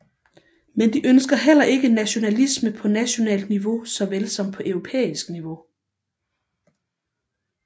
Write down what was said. Men de ønsker heller ikke nationalisme på nationalt niveau såvel som på europæisk niveau